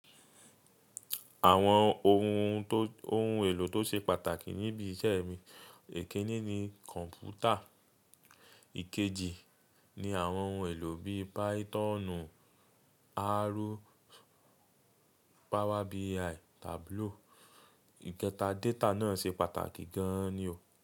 Àwọn ohun tó ohun èlò tó ṣe pàtàkì níbi iṣẹ́ mi. Ikinní ni kọ̀ǹpútà, ìkejì ni àwọn ohun èlò bí Pythonu, r, Power BI, Tableau. Ìkẹta, data náà ṣe pàtàkì gan ni o.